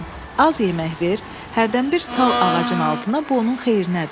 Az yemək ver, hərdən bir sal ağacın altına, bu onun xeyrinədir.